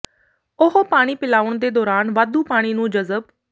ਉਹ ਪਾਣੀ ਪਿਲਾਉਣ ਦੇ ਦੌਰਾਨ ਵਾਧੂ ਪਾਣੀ ਨੂੰ ਜਜ਼ਬ